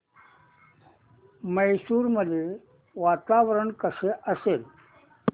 मैसूर मध्ये वातावरण कसे असेल